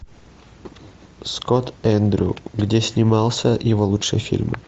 скотт эндрю где снимался его лучшие фильмы